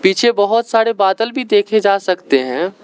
पीछे बहोत सारे बादल भी देखे जा सकते हैं।